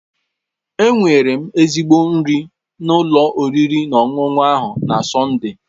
Enwere m ezigbo nri na ụlọ oriri na ọṅụṅụ ahụ na Sọnde